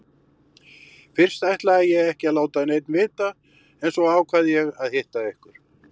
Fyrst ætlaði ég ekki að láta neinn vita en svo ákvað ég að hitta ykkur.